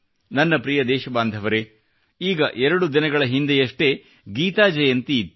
ನನ್ನ ಪ್ರಿಯ ದೇಶ ಬಾಂಧವರೇ ಈಗ 2 ದಿನಗಳ ಹಿಂದೆಯಷ್ಟೇ ಗೀತಾ ಜಯಂತಿ ಇತ್ತು